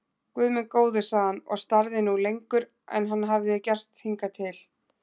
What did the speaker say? Guð minn góður sagði hann og starði nú lengur en hann hafði gert hingað til.